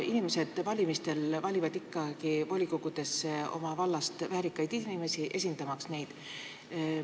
Inimesed valivad ikkagi volikogudesse oma vallast väärikaid inimesi, esindamaks neid.